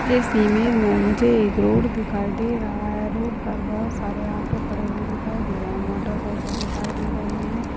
इस इमेज मे मुझे एक रोड दिखाई दे रहा है। रोड पर बहुत सारे ऑटो खड़े हुवे दिखाई दे रहे है। मोटर साइकिल दिखाई दे रही है।